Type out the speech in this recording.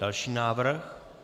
Další návrh.